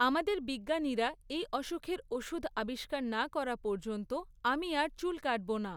আমাদের বিজ্ঞানীরা এই অসুখের ওষুধ আবিষ্কার না করা পর্যন্ত আমি আর চুল কাটব না।